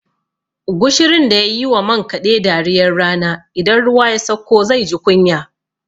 Gushirun da ya yi wa man kaɗe dariyar rana, idan ruwa ya sakko zai ji kunya.